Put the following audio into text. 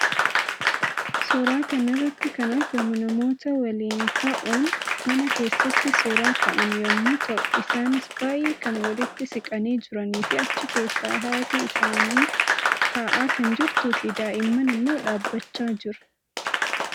Suura kana irratti kan argamu namoota waliin ta'uun mana keessatti suuraa ka'an yammuu ta'uu isaannis baayyee kan walitti siqanii jiranii fi achi keessaa haatii isaanii ta'aa kan jirtuu fi daa'imman immoo dhaabbachaa jiru.